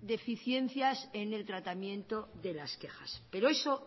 deficiencias en el tratamiento de las quejas pero eso